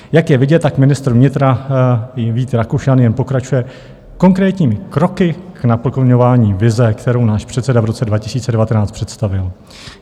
Jak je vidět, tak ministr vnitra Vít Rakušan jen pokračuje konkrétními kroky k naplňování vize, kterou náš předseda v roce 2019 představil.